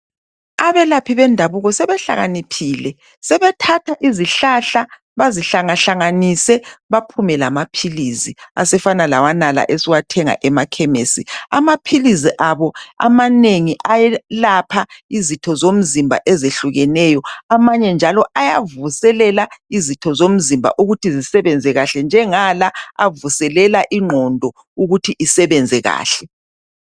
Abelephi bendabuko sebehlaniphile sebathatha izihlahla bazihlanga hlanganise baphume lamapills afana lawonala esiwathenga emakhemisi amapills abo amanengi ayelapha izitho zomzimba ezehlukeneyo amanye njalo ayavuselela izitho zomzimba ukuthi zisebenze kahle njenga la avuselela ingqondo ukuthi isebenze kahle